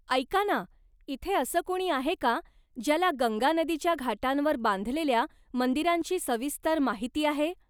ऐका ना, इथे असं कुणी आहे का ज्याला गंगा नदीच्या घाटांवर बांधलेल्या मंदिरांची सविस्तर माहिती आहे?